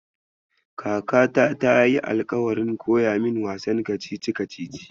Kakata tayi alƙawarin koya min wasan kacici-kacici.